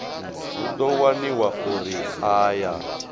hu ḓo waniwa uri aya